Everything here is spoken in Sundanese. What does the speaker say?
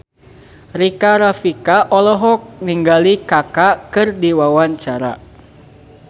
Rika Rafika olohok ningali Kaka keur diwawancara